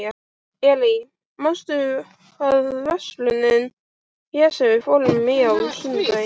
Elí, manstu hvað verslunin hét sem við fórum í á sunnudaginn?